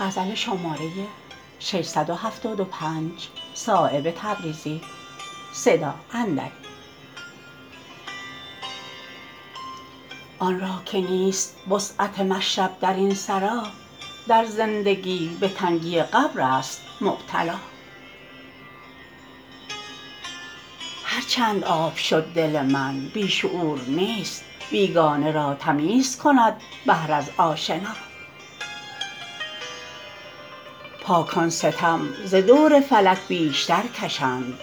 آن را که نیست وسعت مشرب درین سرا در زندگی به تنگی قبرست مبتلا هر چند آب شد دل من بی شعور نیست بیگانه را تمیز کند بحر از آشنا پاکان ستم ز دور فلک بیشتر کشند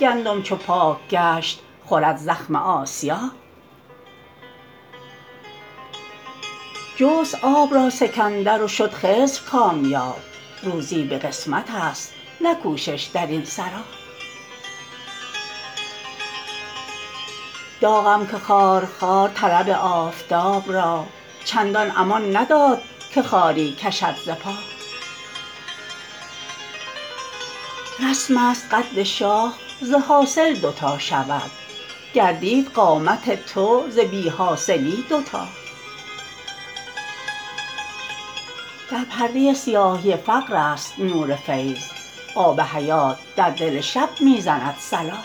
گندم چو پاک گشت خورد زخم آسیا جست آب را سکندر و شد خضر کامیاب روزی به قسمت است نه کوشش درین سرا داغم که خار خار طلب آفتاب را چندان امان نداد که خاری کشد ز پا رسم است قد شاخ ز حاصل دو تا شود گردید قامت تو ز بی حاصلی دوتا در پرده سیاهی فقرست نور فیض آب حیات در دل شب می زند صلا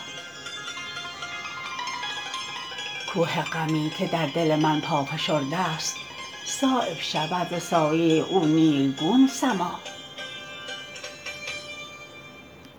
کوه غمی که در دل من پا فشرده است صایب شود ز سایه او نیلگون سما